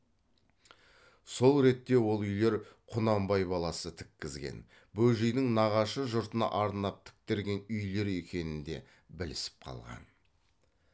сол ретте ол үйлер құнанбай баласы тіккізген бөжейдің нағашы жұртына арнап тіктірген үйлер екенін де білісіп қалған